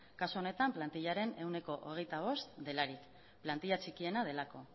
kasu honetan plantillaren ehuneko hogeita bost delarik plantilla txikiena delako